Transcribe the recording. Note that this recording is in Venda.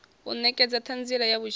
u nekedza thanziela ya vhutshilo